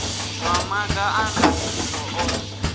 wa maga a ndaṱiso o